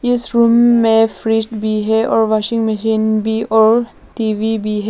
इस रूम में फ्रिज भी है और वॉशिंग मशीन भी और टी_वी भी है।